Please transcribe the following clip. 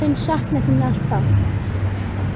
Ég mun sakna þín alltaf.